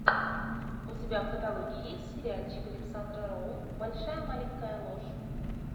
у тебя в каталоге есть сериальчик александра роу большая маленькая ложь